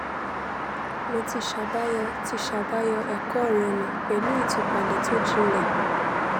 mo ti ṣàbàyọ ti ṣàbàyọ ẹ̀kọ́ rẹ ní pẹ̀lú ìtúpalẹ̀ tó jinlẹ̀